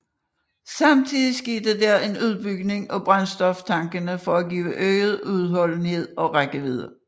Samtidig skete der en udbygning af brændstoftankene for at givet øget udholdenhed og rækkevidde